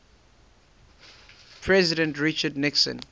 president richard nixon